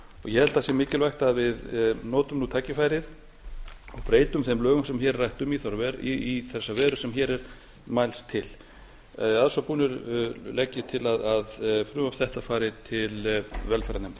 ég held að sé mikilvægt að við notum nú tækifærið og breytum þeim lögum sem hér er rætt um í þessa veru sem hér er mælst til að svo búnu legg ég til að frumvarp þetta fari til velferðarnefndar